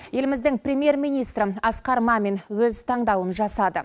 еліміздің премьер министрі асқар мамин өз таңдауын жасады